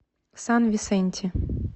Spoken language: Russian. сан висенти